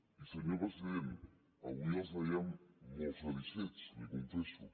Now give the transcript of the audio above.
i senyor president avui els veiem molt satisfets li ho confesso